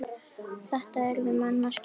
Þetta yrðu menn að skilja.